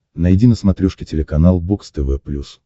найди на смотрешке телеканал бокс тв плюс